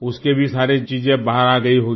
उसकी भी सारी चीज़ें बाहर आ गई होंगी